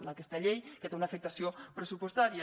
aquesta llei que té una afectació pressupostària